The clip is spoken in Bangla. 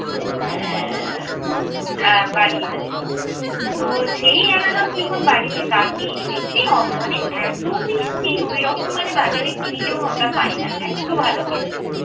বাড়ি আসি। তো সেই আনারস যখন বাড়িতে কাটি দেখছি উম মানে এত মিষ্টি ওইরকম মানে বাজারে কিনলেও আমরা পাই না, এত্ত ভালো খেতে।